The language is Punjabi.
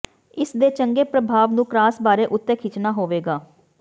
ਇਸ ਦੇ ਚੰਗੇ ਪ੍ਰਭਾਵ ਨੂੰ ਕਰਾਸ ਬਾਰ ਉੱਤੇ ਖਿੱਚਣਾ ਹੋਵੇਗਾ